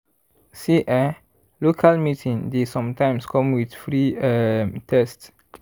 see eh local meeting dey sometimes come with free um test.